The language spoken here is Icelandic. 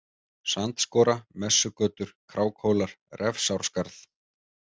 Sandskora, Messugötur, Krákhólar, Refsárskarð